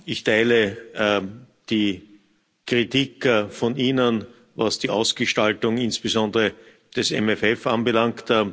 Ich teile die Kritik von Ihnen, was die Ausgestaltung, insbesondere des MFR, anbelangt.